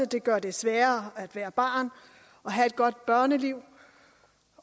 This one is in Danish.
det gør det sværere at være barn og have et godt børneliv